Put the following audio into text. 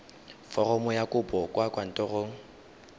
foromo ya kopo kwa kantorong